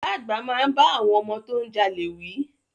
Bàbá àgbà máa bá àwọn ọmọ tó ń jalè wí.